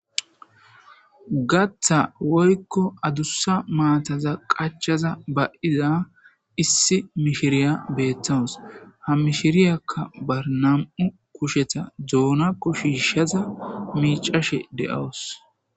gatha woykko adussa maataza qachaza ba7iza issi mishiriya beettawus hammishiriyakka barnam7u kusheta doona kushishaza miicashe de7awus